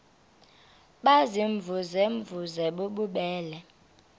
baziimvuze mvuze bububele